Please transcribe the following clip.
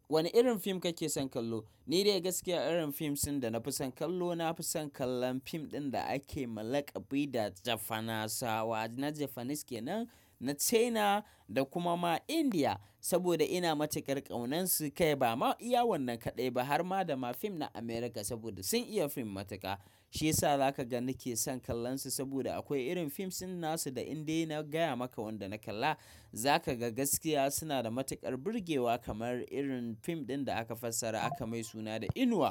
Wane irin fim kake son kallo? Ni dai gaskiya irin fim da nafi son kallo, nafi son kallon fim ɗin da ake ma lakabi da Jafanasawa, na Japanese ke nan, na China da kuma ma India saboda ina matukar ƙaunar su. Kai bama iya wannan kaɗai ba har ma da ma fim na America saboda sun iya fim matuka. Shiyasa zaka ga nake son kallon su saboda akwai irin fim suna su da in dai na gaya maka wanda na kalla, zaka ga gaskiya suna da matukar burgewa kamar irin fim ɗin da aka fassara aka mai suna da Inuwa.